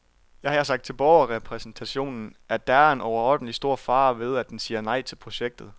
Jeg har sagt til borgerrepræsentationen, at der er en overordentlig stor fare ved, at den siger nej til projektet.